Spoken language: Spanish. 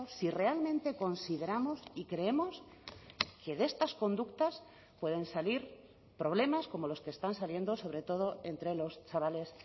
si realmente consideramos y creemos que de estas conductas pueden salir problemas como los que están saliendo sobre todo entre los chavales